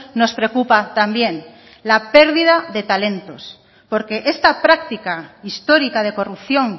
nos preocupa también la pérdida de talentos porque esta práctica histórica de corrupción